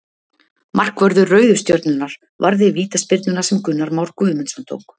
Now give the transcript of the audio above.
Markvörður Rauðu stjörnunnar varði vítaspyrnuna sem Gunnar Már Guðmundsson tók.